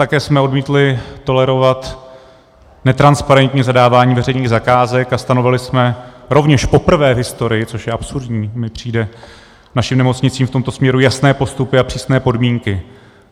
Také jsme odmítli tolerovat netransparentní zadávání veřejných zakázek a stanovili jsme rovněž poprvé v historii, což je absurdní, mi přijde, našim nemocnicím v tomto směru jasné postupy a přísné podmínky.